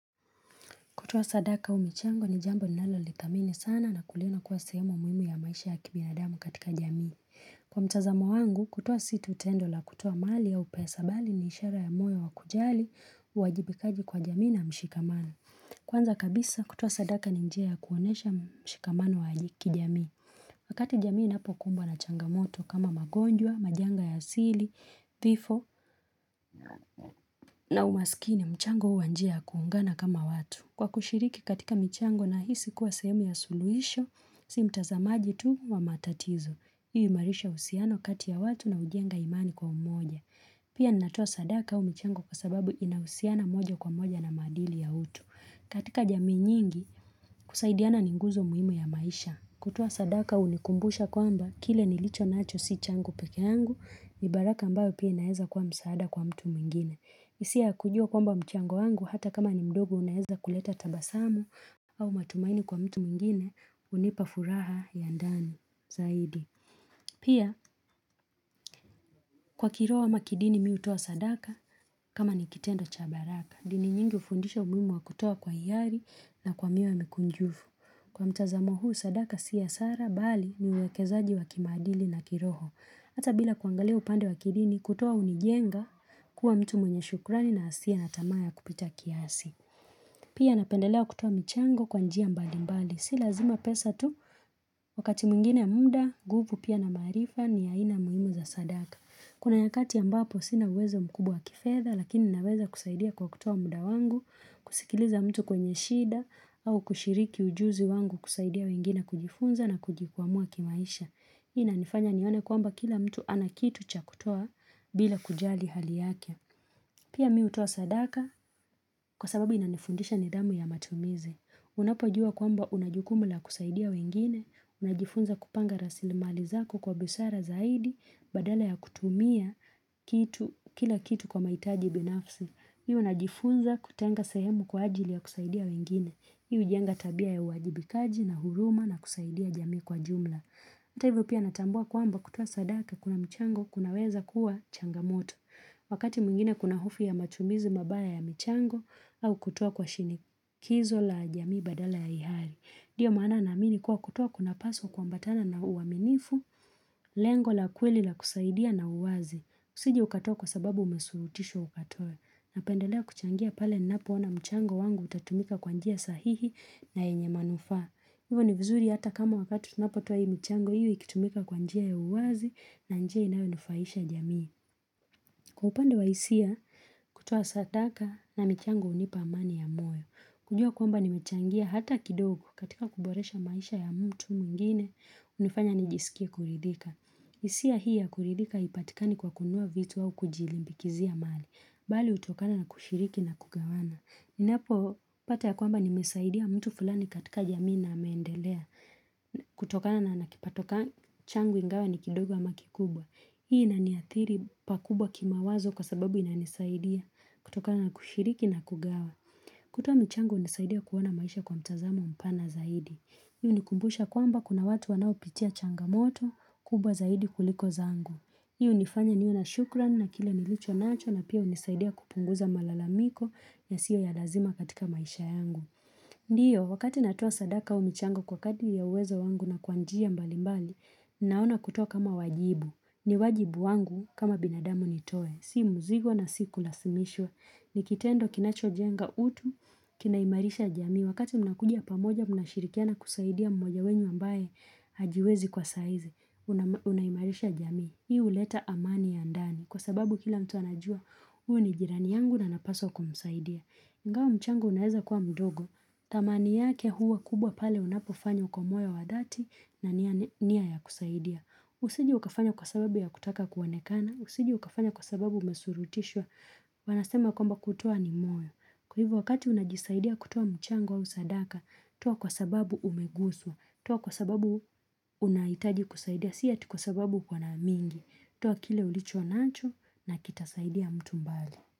Kutuwa sadaka au michango ni jambo nalolithamini sana na kuliona kuwa sehemu muhimu ya maisha ya kibinadamu katika jamii. Kwa mtazamo wangu, kutuwa si tu tendo la kutuwa mali au pesa bali ni ishara ya moyo wa kujali, uwajibikaji kwa jamii na mshikamano. Kwanza kabisa, kutuwa sadaka ni njia kuonyesha mshikamano wa ajikijamii. Wakati jamii inapokumbwa na changamoto kama magonjwa, majanga ya asili, thifo na umasikini, mchango uwa njia kuungana kama watu. Kwa kushiriki katika michango nahisi kuwa sehemu ya suluhisho, si mtazamaji tu wa matatizo. Hii uimarisha usiano kati ya watu na ujenga imani kwa umoja. Pia natuwa sadaka au michango kwa sababu inausiana moja kwa umoja na madili ya utu. Katika jamii nyingi, kusaidiana ninguzo muhimu ya maisha. Kutuwa sadaka unikumbusha kwamba, kile nilicho nacho si changu peke angu, ni baraka ambayo pia naeza kwa msaada kwa mtu mwingine. Isia kujua kwamba mchango wangu hata kama ni mdogo unaeza kuleta tabasamu au matumaini kwa mtu mingine unipa furaha ya ndani zaidi. Pia, kwa kiroho ama kidini mi utoa sadaka kama ni kitendo cha baraka. Dini nyingi ufundisha umuimu wa kutoa kwa hiari na kwa mioyo mikunjufu. Kwa mtazamo huu sadaka siya hasara bali ni uwekezaji wa kimadili na kiroho. Hata bila kuangalia upande wa kidini, kutuwa unijenga kuwa mtu mwenye shukrani na asie na tama ya kupita kiasi. Pia napendelea kutuwa michango kwanjia mbali mbali. Si lazima pesa tu, wakati muingine muda, nguvu pia na marifa ni ya aina muhimu za sadaka. Kuna yakati ambapo sina uwezo mkubwa kifedha, lakini naweza kusaidia kwa kutuwa muda wangu, kusikiliza mtu kwenye shida, au kushiriki ujuzi wangu kusaidia wengine kujifunza na kujikwamua kimaisha. Ina nifanya nione kwamba kila mtu anakitu cha kutoa bila kujali hali yake. Pia mi hutoa sadaka kwa sababu inanifundisha nidamu ya matumizi. Unapajua kuwamba unajukumu la kusaidia wengine, unajifunza kupanga rasilimali zako kwa busara zaidi, badala ya kutumia kila kitu kwa maitaji binafsi. Hivo unajifunza kutenga sehemu kwa ajili ya kusaidia wengine. Hujenga tabia ya uwajibikaji na huruma na kusaidia jami kwa jumla. Hata hivyo pia natambua kwamba kutuwa sadaka kuna mchango kunaweza kuwa changamoto. Wakati muingine kuna hofu ya matumizi mabaya ya mchango au kutuwa kwa shinikizo la jamii badala ya ihari. Ndio maana naamini kuwa kutuwa kunapaswa kwambatana na uaminifu, lengo la kweli la kusaidia na uwazi. Usije ukatoa kwa sababu umesurutisho ukatoe. Napendelea kuchangia pale ninapo ona mchango wangu utatumika kwa njia sahihi na enye manufa. Hivo ni vizuri hata kama wakati tunapotuwa hii mchango iwe ikitumika kwa njia ya uwazi na njia inayonufaisha jamii. Kwa upande wa isia kutuwa sataka na michango unipa amani ya moyo. Kujua kwamba nimechangia hata kidogo katika kuboresha maisha ya mtu muingine hunifanya nijisikie kuridika. Isia hii ya kuridika haipatikani kwa kunua vitu au kujilimbikizia mali. Bali utokana na kushiriki na kugawana. Ninapo pata ya kwamba nimesaidia mtu fulani katika jamii na ameendelea kutokana na nakipato changu ingawa ni kidogo hama kikubwa. Hii inaniathiri pakubwa kimawazo kwa sababu inanisaidia kutokana na kushiriki na kugawa. Kutoa michango unisaidia kuona maisha kwa mtazamo mpana zaidi. Hii unikumbusha kwamba kuna watu wanao pitia changamoto kubwa zaidi kuliko zangu. Hii unifanya niwe na shukran na kile nilicho nacho na pia unisaidia kupunguza malalamiko yasiyo ya lazima katika maisha yangu. Ndiyo, wakati natuwa sadaka au michango kwa kadri ya uwezo wangu na kwa njia mbalimbali, naona kutoa kama wajibu. Ni wajibu wangu kama binadamu nitoe, si muzigo na si kulasimishwa. Nikitendo kinacho jenga utu, kinaimarisha jami. Wakati mnakuji pamoja, mnashirikiana kusaidia mmoja wenye ambae hajiwezi kwa saizi, unayimarisha jamii. Hii huleta amani ya ndani, kwa sababu kila mtu anajua, huu ni jirani yangu na napaswa kumsaidia. Ingao mchango unaeza kuwa mdogo, tamani yake huu wa kubwa pale unapofanyo kwa moyo wa dati na niya ya kusaidia. Usije ukafanya kwa sababu ya kutaka kuonekana, usije ukafanya kwa sababu umesurutishwa, wanasema kwamba kutuwa ni moyo. Kwa hivo wakati unajisaidia kutuwa mchango au sadaka, tuwa kwa sababu umeguswa, toa kwa sababu unaitaji kusaidia si ati kwa sababu uko na mingi. Tua kile ulicho nacho na kitasaidia mtu mbali.